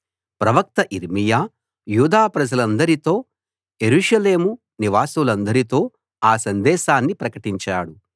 ప్రవక్త యిర్మీయా యూదా ప్రజలందరితో యెరూషలేము నివాసులందరితో ఆ సందేశాన్ని ప్రకటించాడు